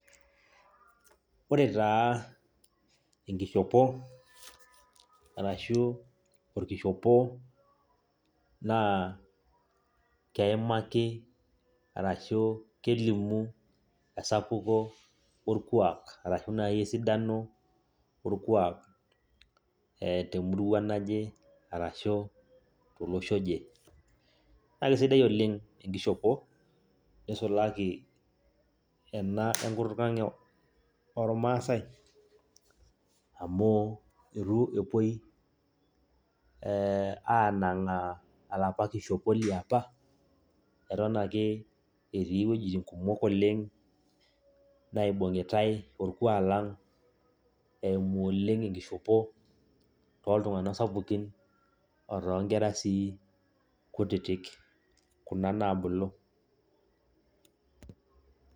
Ore taa enkishopo arashu orkishopo, naa keimaki arashu kelimu esapuk orkuak nai esidano orkuak temurua naje, arashu tolosho oje. Naa kesidai oleng enkishopo, nisulaki ena enkutuk ang ormaasai, amu itu epoi anang'aa alapa kishopo liapa, eton ake etii wuejiting kumok oleng naibung'itai orkuak lang',eimu oleng enkishopo toltung'anak sapukin, otoonkera si kutitik, kuna nabulu.